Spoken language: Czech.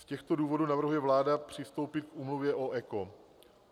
Z těchto důvodů navrhuje vláda přistoupit k úmluvě o ECO.